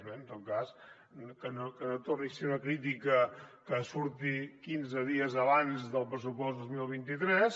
bé en tot cas que no torni a ser una crítica que surti quinze dies abans del pressupost dos mil vint tres